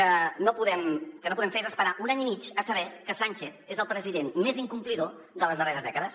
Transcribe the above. el que no podem fer és esperar un any i mig a saber que sánchez és el president més incomplidor de les darreres dècades